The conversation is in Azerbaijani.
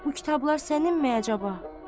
Bu kitablar səninmi əcaba?